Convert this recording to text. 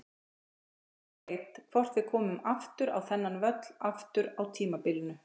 Hver veit hvort við komum aftur á þennan völl aftur á tímabilinu?